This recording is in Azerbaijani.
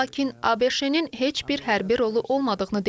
ABŞ-nin heç bir hərbi rolu olmadığını deyib.